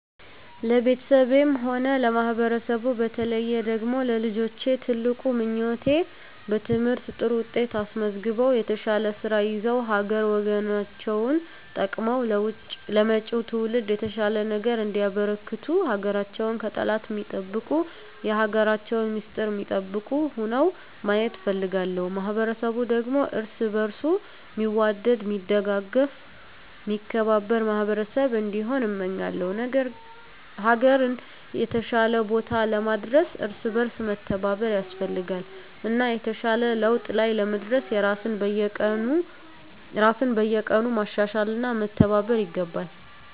ለቤተሰቤም ሆነ ለማህበረሰቡ በተለየ ደግሞ ለልጆቼ ትልቁ ምኞቴ በትምህርት ጥሩ ውጤት አስመዝግበው የተሻለ ስራ ይዘው ሀገር ወገናቸውን ጠቅመው ለመጭው ትውልድ የተሻለ ነገር እንዲያበረክቱ ሀገራቸውን ከጠላት ሚጠብቁ የሀገራቸውን ሚስጥር ሚጠብቁ ሁነው ማየት እፈልጋለሁ። ማህበረሰቡ ደግሞ እርስ በእርሱ ሚዋደድ ሚደጋገፍ ሚከባበር ማህበረሰብ እንዲሆን እመኛለው። ሀገርን የተሻለ ቦታ ለማድረስ እርስ በእርስ መተባበር ያስፈልጋል እና የተሻለ ለውጥ ላይ ለመድረስ ራስን በየቀኑ ማሻሻል እና መተባበር ይገባል።